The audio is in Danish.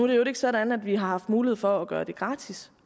i øvrigt ikke sådan at vi har haft mulighed for at gøre det gratis